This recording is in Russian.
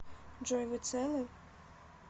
джой вы целы